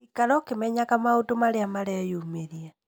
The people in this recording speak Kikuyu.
Ikara ũkĩmenyaga maũndũ marĩa mareyumĩria